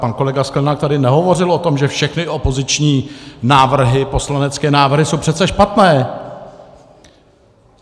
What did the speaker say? Pan kolega Sklenák tady nehovořil o tom, že všechny opoziční návrhy, poslanecké návrhy, jsou přece špatné.